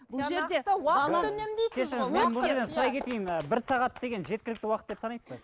сұрай кетейін ііі бір сағат деген жеткілікті уақыт деп санайсыз ба